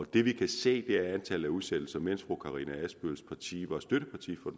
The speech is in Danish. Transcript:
det vi kan se er at antallet af udsættelser mens fru karina adsbøls parti var støtteparti for